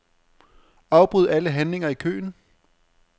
Afbryd alle handlinger i køen.